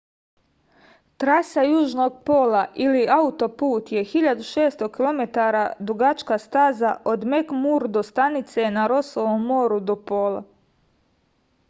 траса јужног пола или аутопут је 1600 km дугачка стаза од мекмурдо станице на росовом мору до пола